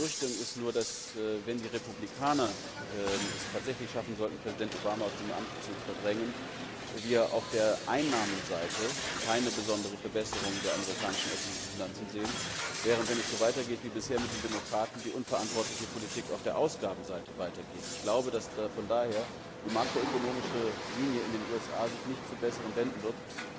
Meine Befürchtung ist nur, dass, wenn die Republikaner es tatsächlich schaffen sollten, Präsident Obama aus dem Amt zu verdrängen, wir auf der Einnahmenseite keine besondere Verbesserung der amerikanischen öffentlichen Finanzen sehen, während, wenn es so weitergeht wie bisher, mit den Demokraten die unverantwortliche Politik auf der Ausgabenseite weitergeht. Von daher glaube ich, dass sich die makroökonomische Linie in den USA nicht zum Besseren wenden wird.